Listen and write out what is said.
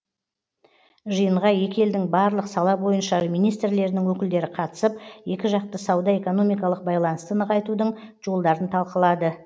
жиынға екі елдің барлық сала бойынша министрлерінің өкілдері қатысып екіжақты сауда экономикалық байланысты нығайтудың жолдарын талқылады